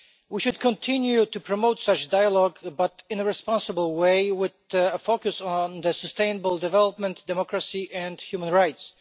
We should continue to promote such dialogue but in a responsible way, with focus on the sustainable development, democracy and human rights.